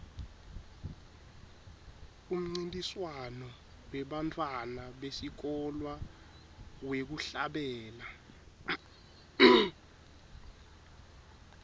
umncintiswano webantfwana besikolwa wekuhlabela